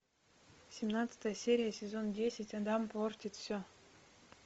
семнадцатая серия сезон десять адам портит все